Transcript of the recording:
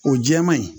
O jɛman in